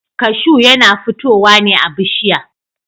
kashu yana futowa ne a bishiya.